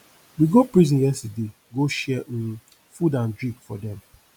we go prison yesterday go share um food and drink for dem